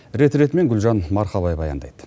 рет ретімен гүлжан марқабай баяндайды